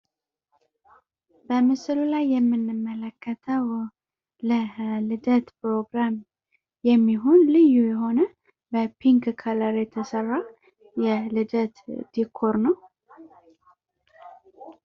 በምስሉ ላይ የምንመለከተው ለልደት ፕሮግራም ልዩ የሆነ በፒንክ ከለር የተሰራ የልደት ዲኮር ነው ።